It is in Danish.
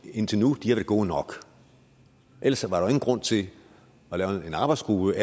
indtil nu har været gode nok ellers var der grund til at lave en arbejdsgruppe